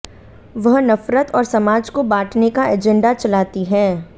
वह नफरत और समाज को बांटने का एजेंडा चलाती है